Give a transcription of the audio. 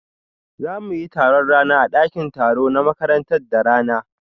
Za mu yi taron rana a ɗakin taro na makaranta da rana